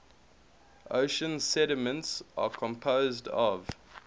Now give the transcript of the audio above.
ocean sediments are composed of